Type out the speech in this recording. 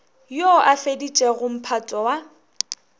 yo a feditšego mphato wa